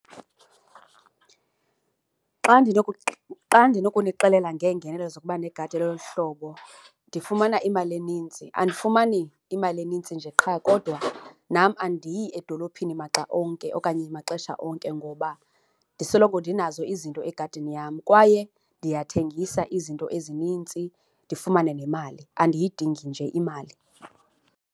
Xa , xa ndinokunixelela ngeengenelo zokuba neegadi elolu uhlobo, ndifumana imali enintsi. Andifumani imali enintsi nje qha kodwa nam andiyi edolophini maxa onke okanye maxesha onke ngoba ndisoloko ndinazo izinto egadini yam. Kwaye ndiyathengisa izinto ezinintsi ndifumane nemali, andiyidingi nje imali.